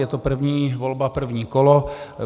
Je to první volba první kolo.